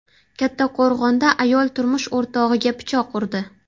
Kattaqo‘rg‘onda ayol turmush o‘rtog‘iga pichoq urdi.